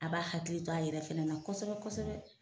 A b'a hakili to a yɛrɛ fɛnɛ na kosɛbɛ kosɛbɛ